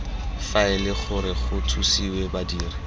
faele gore go thusiwe badiri